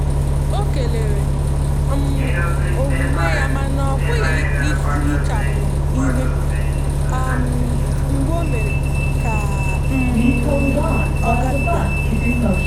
ọ kelere um omume yamana ọpughi ihechapu ihe um mgbu o mere ka um ọ ga bi ga.